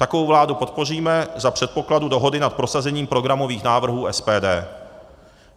Takovou vládu podpoříme za předpokladu dohody nad prosazením programových návrhů SPD.